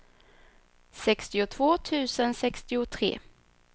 sextiotvå tusen sextiotre